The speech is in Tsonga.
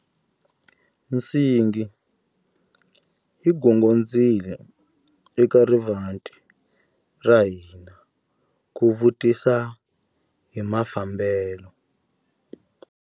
Nsingi yi gongondzile eka rivanti ra hina ku vutisa hi mafambelo.